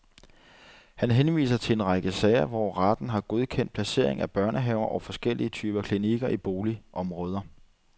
Han henviser til en række sager, hvor retten har godkendt placering af børnehaver og forskellige typer klinikker i boligområder.